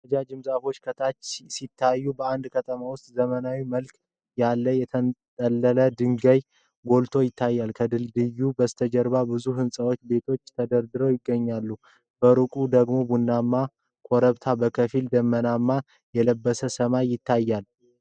ረጃጅም ዛፎች ከታች ሲታዩ፣ በአንድ ከተማ ውስጥ ዘመናዊ መልክ ያለው የተንጠለጠለ ድልድይ ጎልቶ ይታያል። ከድልድዩ በስተጀርባ ብዙ ህንጻዎችና ቤቶች ተደርድረው ይገኛሉ። በሩቅ ደግሞ ቡናማ ኮረብታና በከፊል ደመና የለበሰ ሰማይ ይታያል።